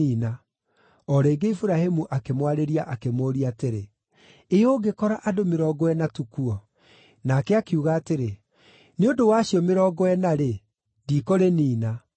O rĩngĩ Iburahĩmu akĩmwarĩria akĩmũũria atĩrĩ, “Ĩ ũngĩkora andũ mĩrongo ĩna tu kuo?” Nake akiuga atĩrĩ, “Nĩ ũndũ wa acio mĩrongo ĩna-rĩ, ndikũrĩniina.”